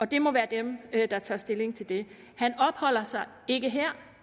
det må være dem der tager stilling til det han opholder sig ikke her